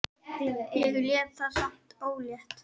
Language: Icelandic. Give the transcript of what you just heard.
Ég lét það samt ógert.